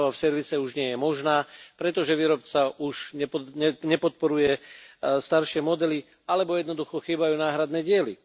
Oprava v servise už nie je možná, pretože výrobca už nepodporuje staršie modely alebo jednoducho chýbajú náhradné diely.